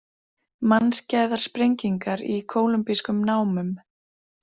Mannskæðar sprengingar í kólumbískum námum